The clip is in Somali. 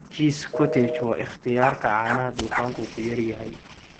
Cheese Cottage waa ikhtiyaarka caanaha dufanku ku yar yahay.